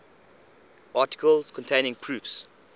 articles containing proofs